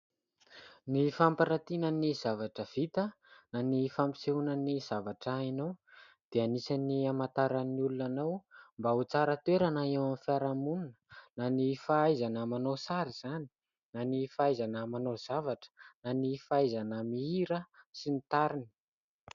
Ny fampiratiana ny zavatra vita na ny fampisehoana ny zavatra hainao dia anisan'ny hamantaran'ny olona anao mba ho tsara toerana eo amin'ny fiarahamonina ; na ny fahaizana manao sary izany na ny fahaizana manao zavatra na ny fahaizana mihira sy ny tariny.